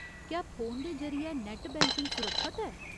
क्या फोन दे जरि'यै नैट्ट बैंकिंग सुरक्खत ऐ ?